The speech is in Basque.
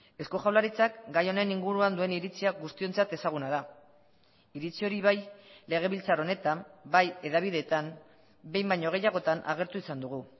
eusko jaurlaritzak gai honen inguruan duen iritzia guztiontzat ezaguna da iritzi hori bai legebiltzar honetan bai hedabidetan behin baino gehiagotan agertu izan dugu